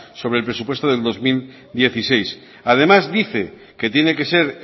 sobre el presupuesto de dos mil dieciséis además dice que tiene que ser